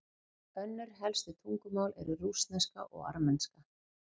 Önnur helstu tungumál eru rússneska og armenska.